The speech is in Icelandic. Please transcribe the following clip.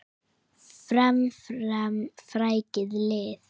Fram, fram, frækið lið!